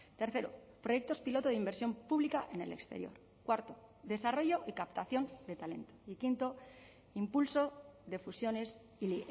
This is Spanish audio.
tercero proyectos piloto de inversión pública en el exterior cuarto desarrollo y captación de talento y quinto impulso de fusiones y